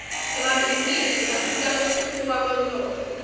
emabhizinisi asita kutfutfuka kwemnotfo